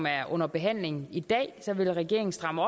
er under behandling i dag vil regeringen stramme